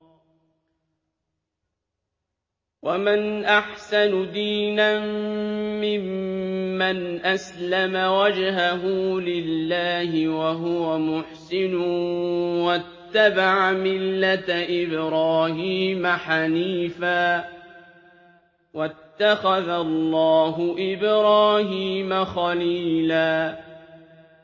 وَمَنْ أَحْسَنُ دِينًا مِّمَّنْ أَسْلَمَ وَجْهَهُ لِلَّهِ وَهُوَ مُحْسِنٌ وَاتَّبَعَ مِلَّةَ إِبْرَاهِيمَ حَنِيفًا ۗ وَاتَّخَذَ اللَّهُ إِبْرَاهِيمَ خَلِيلًا